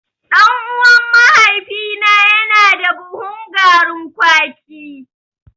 Ɗan'uwan mahaifina yana da buhun garin kwaki.